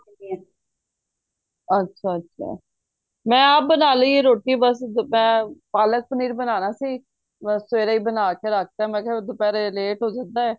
ਅੱਛਾ ਅੱਛਾ ਮੈਂ ਆਪ ਬਣਾ ਲਈ ਏ ਰੋਟੀ ਬੱਸ ਮੈਂ ਪਾਲਕ ਪਨੀਰ ਬਨਾਣਾ ਸੀ ਮੇਂ ਸਵੇਰੇ ਈ ਬਣਾ ਕੇ ਰੱਖ ਤਾਂ ਮੈਂ ਕਿਹਾ ਦੁਪਹਿਰੇ ਲੇਟ ਹੋ ਜਾਂਦਾ